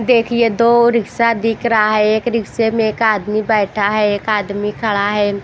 देखिए दो रिक्शा दिख रहा है एक रिक्शे में एक आदमी बैठा है एक आदमी खड़ा है।